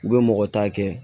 U bɛ mɔgɔ ta kɛ